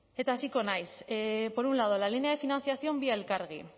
eta hasiko naiz por un lado la línea de financiación vía elkargi